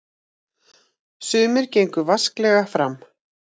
Sumir gengu vasklega fram.